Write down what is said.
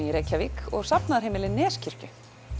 í Reykjavík og safnaðarheimili Neskirkju